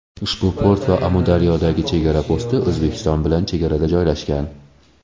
Ushbu port va Amudaryodagi chegara posti O‘zbekiston bilan chegarada joylashgan.